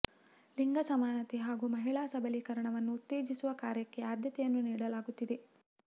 ಲಿಂಗ ಸಮಾನತೆ ಹಾಗೂ ಮಹಿಳಾ ಸಬಲೀಕರಣವನ್ನು ಉತ್ತೇಜಿಸುವ ಕಾರ್ಯಕ್ಕೆ ಆದ್ಯತೆಯನ್ನು ನೀಡಲಾಗುತ್ತಿದೆ